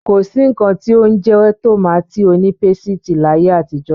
Ko sí nnkan tí ó ń jẹ́ tòmátì onípésìtì láyé àtijó.